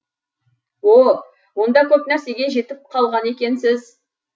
о онда көп нәрсеге жетіп қалған екенсіз